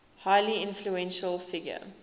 highly influential figure